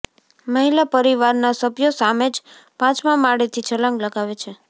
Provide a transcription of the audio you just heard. મહિલા પરિવારના સભ્યો સામે જ પાંચમા માળેથી છલાંગ લગાવે છે